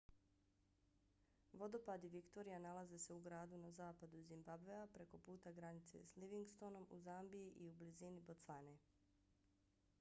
vodopadi victoria nalaze se u gradu na zapadu zimbabvea preko puta granice s livingstonom u zambiji i u blizini bocvane